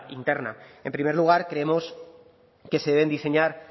interna en primer lugar creemos que se deben diseñar